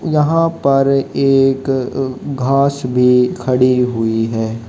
यहां पर एक अ घास भी खड़ी हुई है।